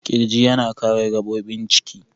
Kirji yana kare gabobin ciki.